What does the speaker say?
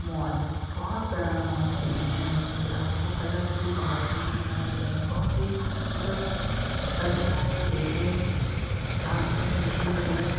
Mall बोहोत बड़ा mall है ये यहाँ पे आपको कलरफूल बाहर से ही दिखा दे रहा है बोहोत ही खूबसूरत लग रहा है देखने में घास है रेलिंग है।